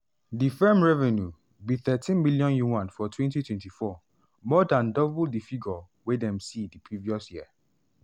di firm revenue be 13m yuan for 2024 more dan double di figure wey dem see di previous year.